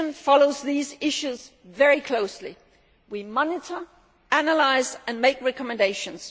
Commission follows these issues very closely. We monitor, analyse and make recommendations.